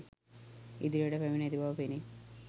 ඉදිරියට පැමිණ ඇති බව පෙනේ